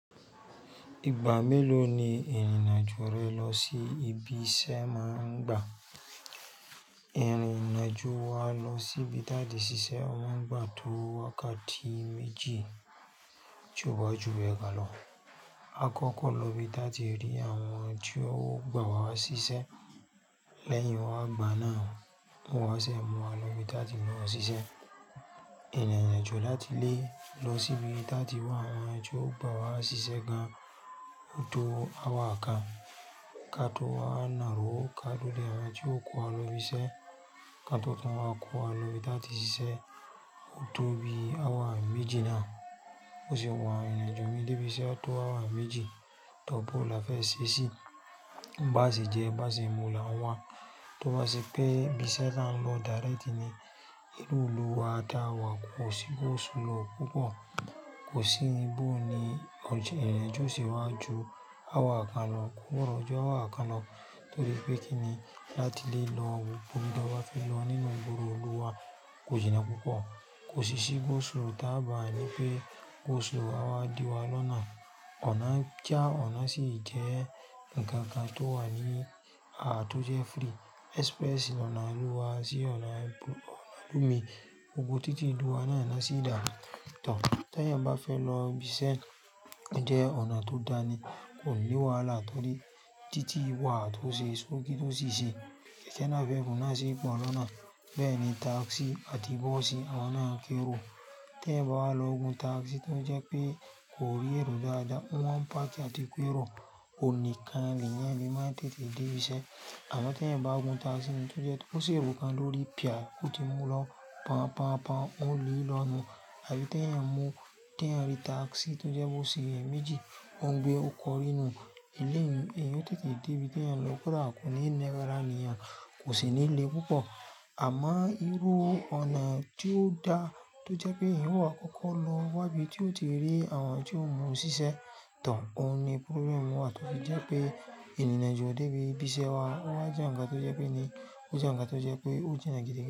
Ìgbà méló ni ìrìn àjò rẹ lọ sí ibi iṣẹ́ máa ń gba? Ìrìn àjò wa lọ sí ibi táàtì ṣiṣẹ́ máa ń gbà tó wákàtí méjì tó bá ju bẹ́ gan lọ. Àkọ́kọ́ lọ bí táàtì rí àwọn tí ó gbà wá ṣiṣẹ́ lẹ́yìn wá gbà náà, wá ṣe mú wa lọ ibi táàtì máà ṣiṣẹ́. Ìrìn àjò láti lé lọ sí ibi táàtì wá àwọn ẹni tí ó gbà wá ṣiṣẹ́ gan an tó hour kàn. Ká tó wá nàró ká tó dé àwọn tí ó kó wa lọ ibi iṣẹ́. Ká tó tún wá kó wa lọ ibi táá tì ṣiṣẹ́, ó tó bí hour méjì náà. Bó ṣe wà yẹn ìrìn-àjò mi débi iṣẹ́ tó hour méjì. Tọ́ọ̀, bóo la fẹ́ ṣe é sí Báá ṣe jẹ, báá ṣe mu là ń wá Tó bá ṣe pé pé ibi iṣẹ́ là ń lọ direct ni. Nínú ìlú wa táa wà, kò sí go slow púpọ̀. Kò sí ibo ni ìrìn-àjò ó ṣe wá ju hour kan lọ, kò gbọdọ̀ ju hour kan lọ torí pé kí ni láti lé lọ wo gbogbo ohun tó bá ti ń lọ nínú ìgboro ìlú wa, kò jìnnà púpọ̀. Kò sì sí go slow táà bá ni pé go slow á wá di wa lọ́nà ọ̀nà já ọ̀nà sì jẹ́ nǹkan kan tó wà ní àà tó jẹ́ frí. Express lọ́nà ìlú wa sí ọ̀nà ìlú mi. Gnogbo títì ìlú wa náà l'ọ́n sì dà. Tọ̀ọ̀, téèyàn bá fẹ́ lọ ibi iṣẹ́, ó jẹ́ ọ̀nà tó dáa ni. Kò ní wàhálà torí títí wà tó ṣe sókí tó sì ṣe. Ẹ̀ṣẹ̀ náà fẹ́ náà sì pọ̀ lọ́nà. Bẹ́ẹ̀ ni tákisí àti bọ́ọ̀sì àwọn náà ń kérò. Téèyàn bá wá lọ gun takisí tó jẹ́ pé kò rí èrò dáadáa. Wọ́n ń páàkì àti k'érò Òun nìkan lèèyàn le má tètè débi iṣẹ́. Àmọ́ téèyàn bá gun takisí ni tó jẹ́ tó ṣ'èrò kan lórí pìí, ó ti mú lọ pọn pọn pọn ó lè lọ nùu. Àbí téèyàn mú téèyàn rí takisí tó jẹ́ bó ṣe èèyàn méjì, ó ń gbé ó kọ rí nùu eléyìí èèyàn ó tètè débi téèyàn ń lọ kódà kò ní ní ara nììyàn kò sì ní le púpọ̀. Àmọ́ irú ọ̀nà tí ó dáa tó jẹ́ pé èèyàn ó wá kọ́kọ́ lọ wábi tí ó ti rí àwọn tí óò mú u ṣíṣẹ́. Tọ̀ọ̀, òun ni problem wa tó fi jẹ́ pé ìrìn-àjò débi ibi iṣẹ́ wá, ó wá jẹ́ nǹkan tó jẹ́ pé ni, ó jẹ́ nǹkan tó jẹ́ pé ó jìnnà gidigidi.